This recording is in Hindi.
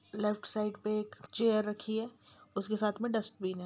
लेफ्ट साइड पे एक चेयर रखी है उसके साथ मे डस्टबिन है।